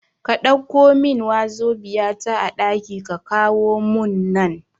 Ka Ɗauko min wazobia ta a ɗaki ka kawo mun nan